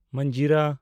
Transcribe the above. ᱢᱟᱱᱡᱤᱨᱟ